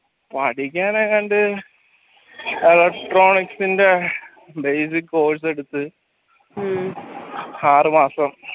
പഠിക്കാൻ ഏതാണ്ട് electronics ന്റെ basic course എടുത്ത് ആറുമാസം